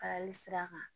Kalayali sira kan